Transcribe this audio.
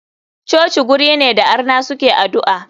Coci guri ne da arna suke adu'a.